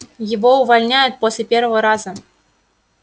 его увольняют после первого раза